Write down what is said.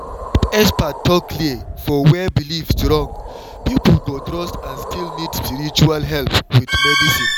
if expert talk clear for where belief strong people go trust and still need spiritual help with medicine.